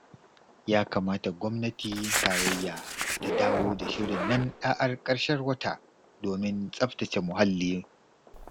Ya kamata Gwamnatin Tarayya ta dawo da shirin nan ɗa'ar ƙarshen wata domin tsafata ce muhalli.